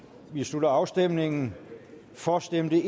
vi slutter afstemningen for stemte